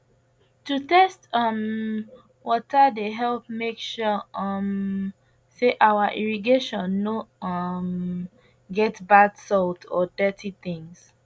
to test um water dey help make sure um say our irrigation no um get bad salt or dirty things